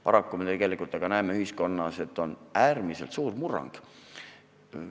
Paraku me näeme ühiskonnas, et on toimunud äärmiselt suur murrang.